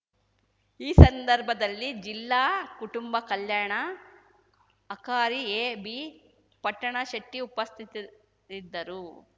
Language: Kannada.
ಈ ಸಂದರ್ಭದಲ್ಲಿ ಜಿಲ್ಲಾ ಕುಟುಂಬ ಕಲ್ಯಾಣ ಅಕಾರಿ ಎ ಬಿ ಪಟ್ಟಣಶೆಟ್ಟಿ ಉಪಸ್ಥಿತರಿದ್ದರು